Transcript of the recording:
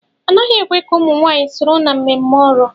Anaghị ekwe ka ụmụ nwanyị soro na mmemme Oro.